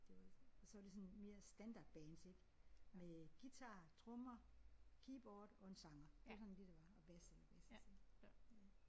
Det var det og så var sådan mere standardbands ik med guitar trommer keyboard og en sanger det var sådan det der var og bas eller basist